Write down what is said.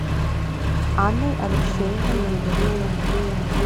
анной алексеевной юрьевой